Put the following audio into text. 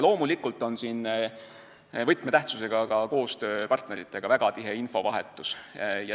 Loomulikult on siin võtmetähtsusega koostöö partneritega ja väga tihe infovahetus.